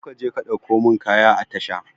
Zo ka je ka ɗauko mun kaya a tasha